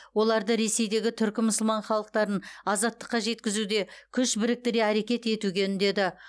оларды ресейдегі түркі мұсылман халықтарын азаттыққа жеткізуде күш біріктіре әрекет етуге үндеді